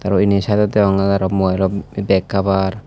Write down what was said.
araw inni saidot deonge araw mubailo bek cabar.